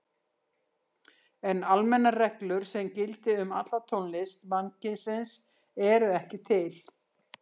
En almennar reglur sem gildi um alla tónlist mannkynsins eru ekki til.